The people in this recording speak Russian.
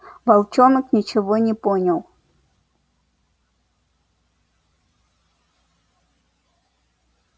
волчонок ничего не понял